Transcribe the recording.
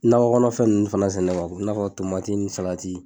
Nakɔkɔnɔfɛn ninnu fana sɛnɛ i n'a fɔ ni